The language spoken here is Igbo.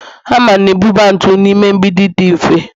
hama na-ebuba ntu n'ime mgbidi dị mfe